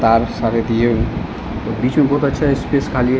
तार सारे दिए हुए और बीच में बहुत अच्छा स्पेस खाली है।